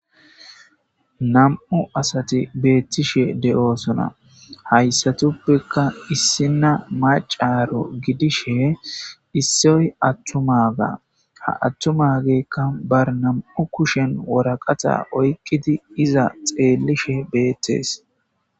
nam7u asati beettishe de7osona hayssatuppekka issinna macaro gidishe issoy attumaga ha attumageekka ba nam7u kushen woraqata oyqidi iza xeellishe beettees